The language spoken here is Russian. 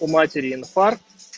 у матери инфаркт